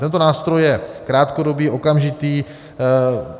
Tento nástroj je krátkodobý, okamžitý.